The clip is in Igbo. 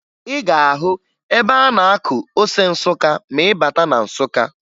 Ị ga-ahụ ebe a na-akụ ose Nsụka ma ị bata na Nsụka